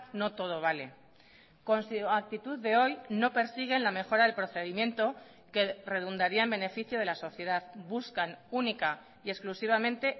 no todo vale con su actitud de hoy no persiguen la mejora del procedimiento que redundaría en beneficio de la sociedad buscan única y exclusivamente